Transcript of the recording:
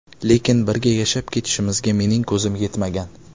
Lekin birga yashab ketishimizga mening ko‘zim yetmagan.